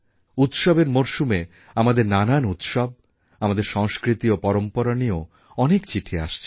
উৎসবের মরশুমে আমাদের নানান উৎসব আমাদের সংস্কৃতি ও পরম্পরা নিয়েও অনেক চিঠি আসছে